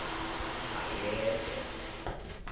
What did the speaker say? bayede